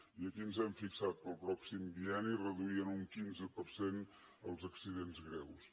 i aquí ens hem fixat per al pròxim bienni reduir en un quinze per cent els accidents greus